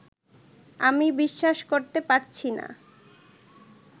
আমি বিশ্বাস করতে পারছি না